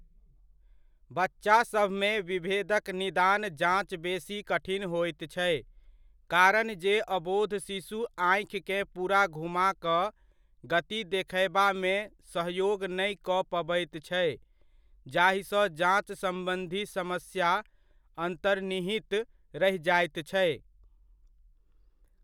बच्चासभमे, विभेदक निदान जाञ्च बेसी कठिन होइत छै, कारणजे अबोध शिशु आँखिकेँ पूरा घुमा कऽ गति देखयबामे सहयोग नहि कऽ पबैत छै जाहिसँ जाञ्च सम्बन्धी समस्या अन्तर्निहित रहि जाइत छै।